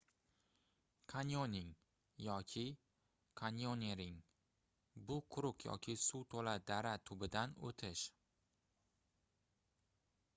kanyoning yoki: kanyonering — bu quruq yoki suv to'la dara tubidan o'tish